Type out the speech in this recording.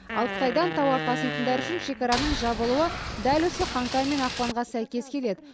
ал қытайдан тауар таситындар үшін шекараның жабылуы дәл осы қаңтар мен ақпанға сәйкес келеді